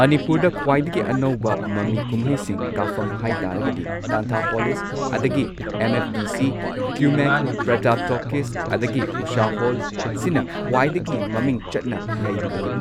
ꯃꯅꯤꯄꯨꯔꯗ ꯈ꯭ꯋꯥꯏꯗꯒꯤ ꯑꯅꯧꯕ ꯃꯃꯤ ꯀꯨꯝꯍꯩꯁꯤꯡ ꯀꯥꯞꯐꯝ ꯍꯥꯏꯇꯥꯔꯒꯗꯤ ꯇꯥꯟꯊꯥꯄꯣꯂꯤꯁ ꯑꯗꯒꯤ ꯑꯦꯝ ꯑꯦꯐ ꯗꯤ ꯁꯤ, ꯀ꯭ꯌꯨꯃꯦꯛ, ꯄ꯭ꯔꯇꯥꯞ ꯇꯣꯀꯤꯁ ꯑꯗꯒꯤ ꯎꯁꯥ ꯍꯣꯜ ꯁꯤꯅ ꯈ꯭ꯋꯥꯏꯗꯒꯤ ꯃꯃꯤꯡ ꯆꯠꯅ ꯂꯩꯔꯤꯕꯅꯤ꯫